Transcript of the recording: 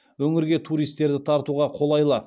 өңірге туристерді тартуға қолайлы